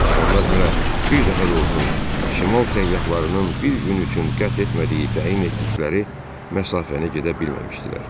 Onlar hələ bir dəfə də olsun şimal səyyahlarının bir gün üçün qət etmədiyi təyin etdikləri məsafəni gedə bilməmişdilər.